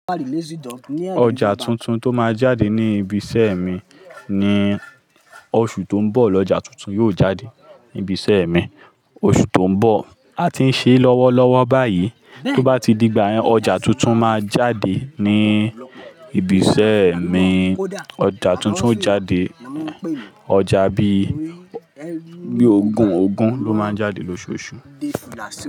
Ọjà tuntun tó máa jáde ní ibi iṣẹ́ mi ni oṣù tó ń bọ̀. Ọjà tuntun yóò jáde ní ibi iṣẹ́ mi oṣù tó ń bọ̀. A ti ń ṣe lọ́wọ́lọ́wọ́ báyìí, tó bá ti digba yẹn ọjà tuntun máa jáde ní ibi iṣẹ́ mi. Ọjà tuntun jáde, ọjà bí i Ogun Ogun ló máa jáde lóṣooṣù.